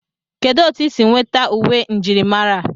Kedụ otu isi nweta uwe njirimara a?